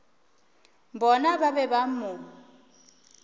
bona ba be ba mo